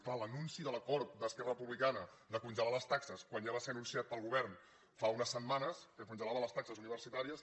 clar l’anunci de l’acord d’esquerra republicana de congelar les taxes quan ja va ser anunciat pel govern fa unes setmanes que congelava les taxes universitàries